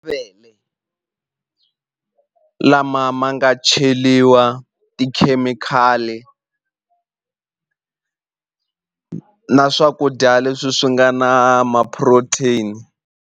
lama ma nga cheliwa tikhemikhali na swakudya leswi swi nga na ma-protein.